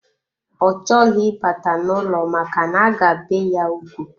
Ọ chọghị ịbata n'ụlọ maka na-aga bee ya ugwu.